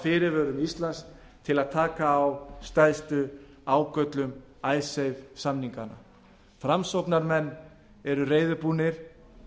fyrirvörum íslands til að taka á stærstu ágöllum icesave samninganna framsóknarmenn eru reiðubúnir